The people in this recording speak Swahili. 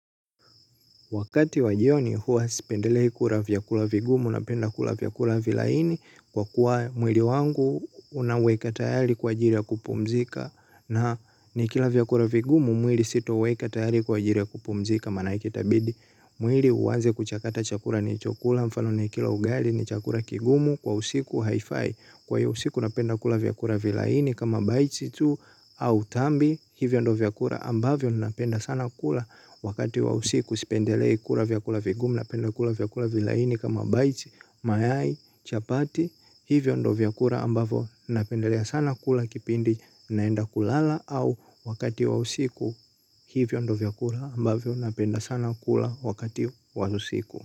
Wakati wajioni huwa sipendelei kula vyakula vigumu na penda kula vyakula vilaini kwa kuwa mwili wangu unaweka tayari kwa ajili ya kupumzika na nikila vyakula vigumu mwili sitauweka tayari kwa ajili ya kupumzika maanake itabidi. Mwili uanze kuchakata chakula nilichokula mfano ni kila ugali ni chakula kigumu kwa usiku haifai kwa hiyo usiku napenda kula vyakula vilaini kama baiti tu au tambi hivyo ndo vyakula ambavyo napenda sana kula wakati wa usiku sipendelei kula vyakula vigumu napenda kula vyakula vilaini kama baiti mayai chapati hivyo ndo vyakula ambavo napendelea sana kula kipindi naenda kulala au wakati wa usiku hivyo ndo vyakula ambavyo napenda sana kula wakati wa usiku.